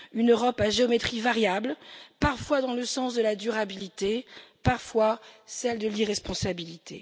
Une Europe à géométrie variable, parfois dans le sens de la durabilité, parfois celle de l'irresponsabilité?